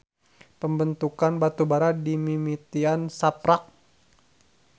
Pembentukan batubara dimimitian saprak.